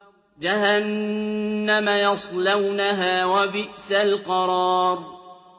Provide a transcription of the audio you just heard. جَهَنَّمَ يَصْلَوْنَهَا ۖ وَبِئْسَ الْقَرَارُ